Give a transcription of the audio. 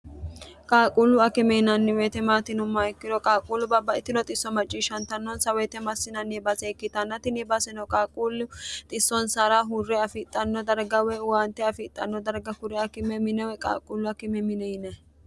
qaaquullu akime yinanni weyite maati yinummoha ikkiro qaaquullu babbaxittino xisso macciishshantannonsa woyite massinanni baase ikkitannatinni baasino qaaquullu xissonsara hurre afiixanno darga woy owaante afiixxanno darga kure akime minewe qaaquullu akime mine yinayi